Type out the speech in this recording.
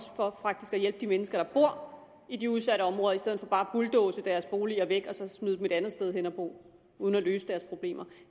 for faktisk at hjælpe de mennesker der bor i de udsatte områder i stedet for bare at bulldoze deres boliger væk og så smide dem et andet sted hen at bo uden at løse deres problemer